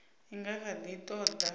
i nga kha ḓi ṱoḓa